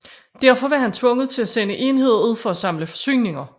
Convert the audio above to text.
Derfor var han tvunget til at sende enheder ud for at samle forsyninger